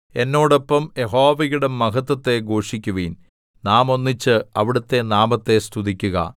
എന്നോടൊപ്പം യഹോവയുടെ മഹത്വത്തെ ഘോഷിക്കുവിൻ നാം ഒന്നിച്ച് അവിടുത്തെ നാമത്തെ സ്തുതിക്കുക